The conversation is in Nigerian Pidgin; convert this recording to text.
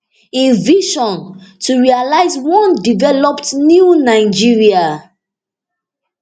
im vision to realize one developed new nigeria